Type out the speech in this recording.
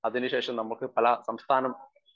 speaker 1 അതിനുശേഷം നമ്മുക്ക് പല സംസ്ഥാനം